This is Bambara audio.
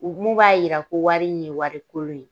U gumu b'a yira ko wari in ye wari kolon ye